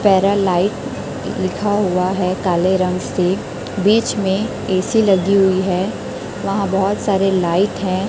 पैरालाइट लिखा हुआ है काले रंग से बीच में ऐ_सी लगी हुई है वहां बहुत सारे लाइट हैं।